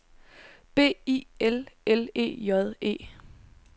B I L L E J E